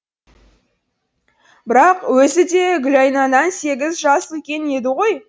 бірақ өзі де гүлайнадан сегіз жас үлкен еді ғой